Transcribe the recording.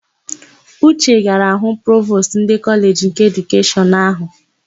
Uche gara hụ Provostu ndị Kọleji nke Edukeshọn áhụ̀.